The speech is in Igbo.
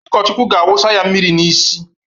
Ụkọchukwu ga-awụsaya mmiri n'isi.